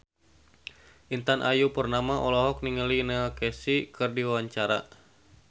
Intan Ayu Purnama olohok ningali Neil Casey keur diwawancara